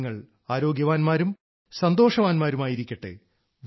നിങ്ങൾ ആരോഗ്യവാൻമാരും സന്തോഷവാൻമാരും ആയിരിക്കട്ടെ